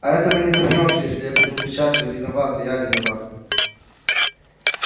а это мы не добьёмся если будем кричать вы виноваты я виноват